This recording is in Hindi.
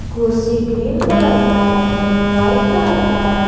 कुर्सी ग्रीन कलर का है वाइट कलर का है।